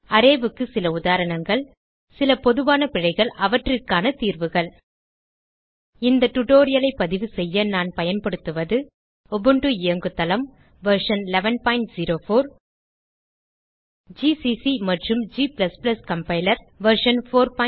arrayக்கு சில உதாரணங்கள் சில பொதுவான பிழைகள் அவற்றிற்கான தீர்வுகள் இந்த tutorialஐ பதிவுசெய்ய நான் பயன்படுத்துவது உபுண்டு இயங்குதளம் வெர்ஷன் 1104 ஜிசிசி மற்றும் g கம்பைலர் வெர்ஷன் 461